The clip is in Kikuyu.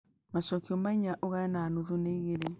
macokio ma inya ugae na nuthu ni igĩrĩ